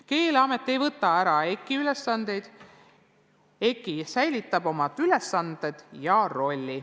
Keeleamet ei võta ära EKI ülesandeid, EKI säilitab oma ülesanded ja rolli.